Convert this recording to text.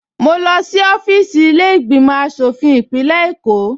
Mo lọ sí ọfíìsì ilé ìgbìmò aṣòfin ìpínlẹ̀ Èkó